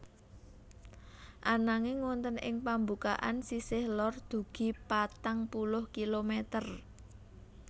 Ananging wonten ing pambukaan sisih lor dugi patang puluh kilometer